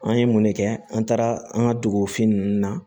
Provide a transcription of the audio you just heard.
An ye mun ne kɛ an taara an ka dugufin nunnu na